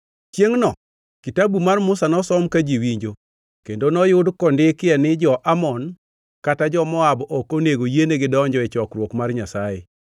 Chiengʼno kitabu mar Musa nosom ka ji winjo kendo noyud kondikie ni jo-Amon kata jo-Moab ok onego yienegi donjo e chokruok mar Nyasaye,